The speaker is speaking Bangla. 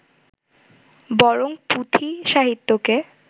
বরং পুঁথি সাহিত্যকে